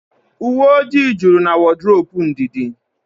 Uwe ọjị jụrụ na wodrobu Ndidi